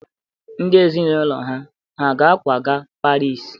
Ndị ezinụlọ ha hà ga-akwaga Paris?